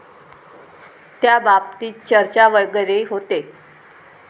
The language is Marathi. त्याबाबतीत चर्चा वगैरे होते?